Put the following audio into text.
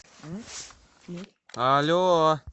але